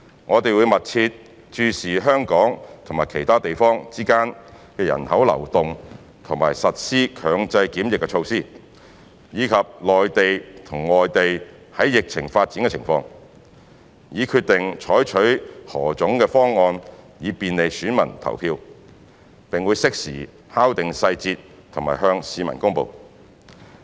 我們會密切注視香港與其他地方之間的人口流動及實施強制檢疫措施，以及內地和外地的疫情發展情況，以決定採取何種方案以便利選民投票，並會適時敲定細節及向市民公布。